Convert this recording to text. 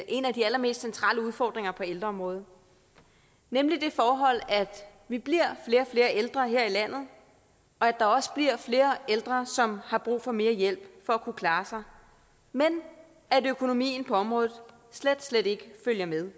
en af de allermest centrale udfordringer på ældreområdet nemlig det forhold at vi bliver flere og flere ældre her i landet og at der også bliver flere ældre som har brug for mere hjælp for at kunne klare sig men at økonomien på området slet slet ikke følger med